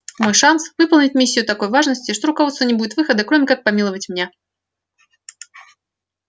мой шанс выполнить миссию такой важности что у руководства не будет выхода кроме как помиловать меня